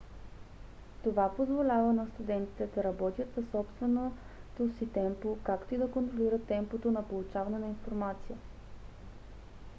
това позволява на студентите да работят със собственото си темпо както и да контролират темпото на получаване на информация